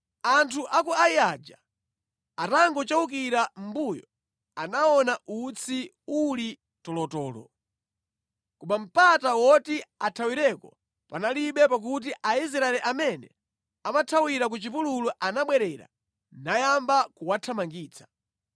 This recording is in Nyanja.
Anthu a ku Ai aja atangochewukira mʼmbuyo anaona utsi uli tolotolo. Koma mpata woti athawireko panalibe pakuti Aisraeli amene amathawira ku chipululu anabwerera nayamba kuwathamangitsa.